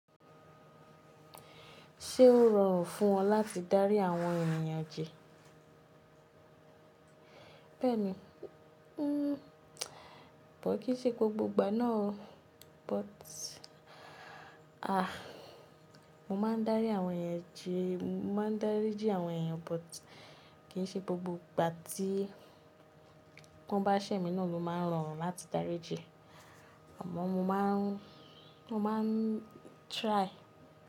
Ṣé ó rọrùn fún ọ láti dárí àwọn ènìyàn jẹ? Bẹ́ẹ̀ni, ẹ́ bọ̀ kí í ṣe gbogbo ìgbà náà o, but aà! Mo máa ń dárí àwọn èèyàn ji, mo máa ń dárí jí àwọn èèyàn but kì í ṣe gbogbo ìgbà tí wọ́n bá ṣẹ̀ mí náà ló máa ń rọrùn láti dárí jẹ. Àmọ́ mo máa ń, mo máa ń try.